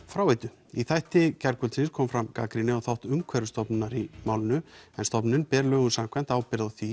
fráveitu í þætti gærkvöldsins kom fram gagnrýni á þátt Umhverfisstofnunar í málinu stofnunin ber lögum samkvæmt ábyrgð á því